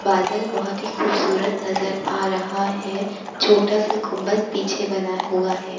बादल बहोत ही खूबसूरत नज़र आ रहा है छोटा-सा गुम्बद पीछे बना हुआ है।